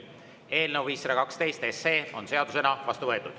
Eelnõu 512 on seadusena vastu võetud.